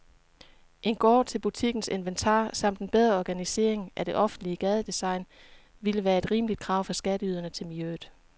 En gård til butikkens inventar samt en bedre organisering af det offentlige gadedesign ville være et rimeligt krav fra skatteyderne til miljøet.